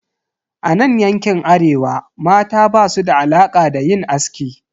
A nan yankin Arewa, mata basu da alaka da yin aski.